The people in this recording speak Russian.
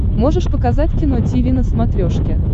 можешь показать кино тиви на смотрешке